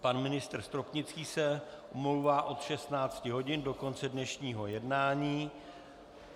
Pan ministr Stropnický se omlouvá od 16 hodin do konce dnešního jednání.